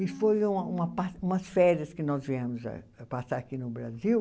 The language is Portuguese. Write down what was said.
E foi uma uma par, umas férias que nós viemos ah, passar aqui no Brasil.